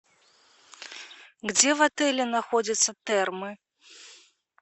где в отеле находятся термы